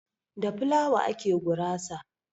Da flawa ake gurasa.